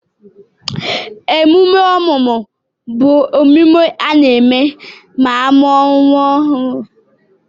Emume ọmụmụ bụ emume a na-eme ma amuo nwa ọhụru